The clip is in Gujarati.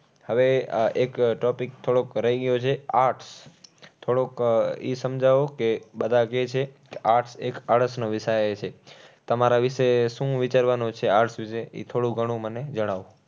હવે આહ એક topic થોડોક રહી ગયો છે. Arts થોડુંક ઈ સમજાવો કે બધા ક્યે છે arts એક આળસનો વિષય છે. તમારા વિશે, શું વિચારવાનું છે arts વિશે? ઈ થોડું ઘણું મને જણાવો.